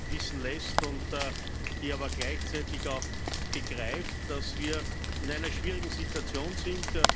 wissen lässt, die aber gleichzeitig auch begreift, dass wir in einer schwierigen Situation sind.